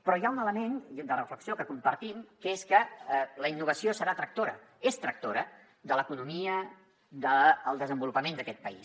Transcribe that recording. però hi ha un element de reflexió que compartim que és que la innovació serà tractora és tractora de l’economia del desenvolupament d’aquest país